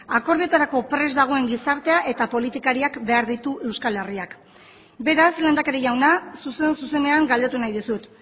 akordioetarako prest dagoen gizartea eta politikariak behar ditu euskal herriak beraz lehendakari jauna zuzen zuzenean galdetu nahi dizut